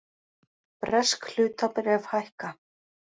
Bresk hlutabréf hækka